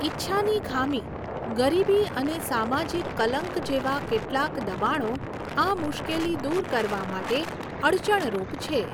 ઈચ્છાની ખામી ગરીબી અને સામાજીક કલંક જેવા કેટલાક દબાણો આ મુશ્કેલી દૂર કરવા માટે અડચણરૂપ છે.